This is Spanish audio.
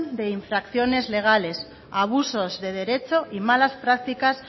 de infracciones legales abusos de derecho y malas prácticas